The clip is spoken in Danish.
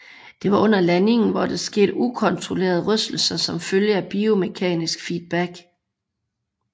Det var under landing hvor der skete ukontrollerede rystelser som følge af biomekanisk feedback